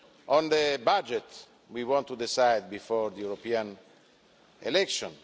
On the budget, we want to decide before the European elections.